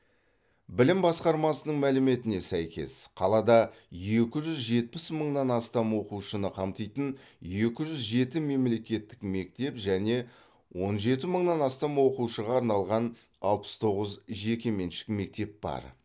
білім басқармасының мәліметіне сәйкес қалада екі жүз жетпіс мыңнан астам оқушыны қамтитын екі жүз жеті мемлекеттік мектеп және он жеті мыңнан астам оқушыға арналған алпыс тоғыз жекеменшік мектеп бар